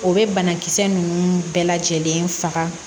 O bɛ banakisɛ ninnu bɛɛ lajɛlen faga